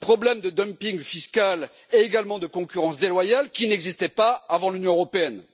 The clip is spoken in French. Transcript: les problèmes de dumping fiscal et de concurrence déloyale qui n'existaient pas avant l'Union européenne!